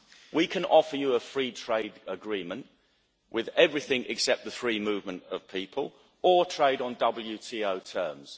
We can offer you a free trade agreement with everything except the free movement of people, or trade on WTO terms.